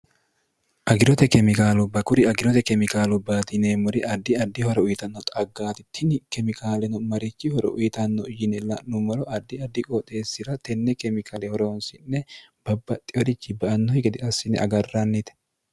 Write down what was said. agirote kemikaalu bakuri agirote kemikaalu baadineemmori addi addi horo uyitanno xaggaatittini kemikaaleno marichi horo uyitanno yine la'nummolo ardi addi qooxeessi'ra tenne kemikaale horoonsi'ne babbaxxiworichi ba annohi gede assine agarrannite